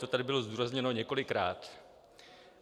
To tady bylo zdůrazněno několikrát.